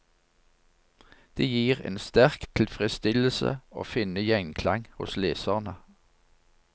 Det gir en sterk tilfredsstillelse å finne gjenklang hos leserne.